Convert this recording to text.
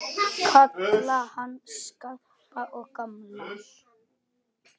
Kalla hann Skarpa og gamla!